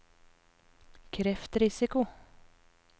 kreftrisiko